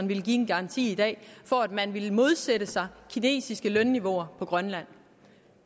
villet give en garanti for at man vil modsætte sig kinesiske lønniveauer på grønland